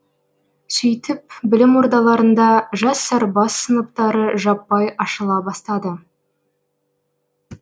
сөйтіп білім ордаларында жас сарбаз сыныптары жаппай ашыла бастады